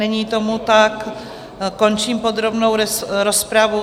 Není tomu tak, končím podrobnou rozpravu.